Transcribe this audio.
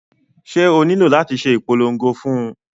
Ṣé o nílò láti ṣe ìpolongo fún un?